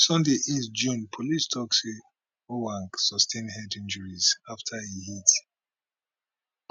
sunday 8 june policetok say ojwang sustain head injuries afta e hit